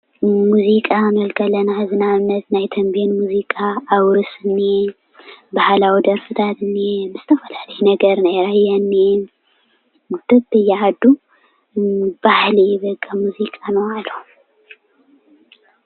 መዚቃ ክንብል ከለና ሕዚ ንኣብነት ናይ ቴንቤን መዝቃ ኣውርስ እንሄ፣ ባህላዊ ዴርፍታት እንሄ፣ ዝተፈላላዩ ናይ ነገር ናይ ራያ እንሄ፣ በብየ ዓዱ ባህሊ እዩ በቃ መዚቃ ንባዓሉ።